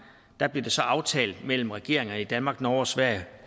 blev det så aftalt mellem regeringerne i danmark norge og sverige